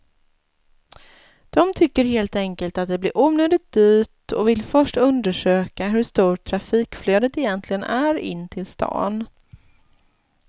De tycker helt enkelt att det blir onödigt dyrt och vill först undersöka hur stort trafikflödet egentligen är in till stan.